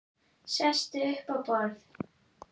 Sest upp á borð.